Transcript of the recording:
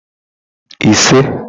ise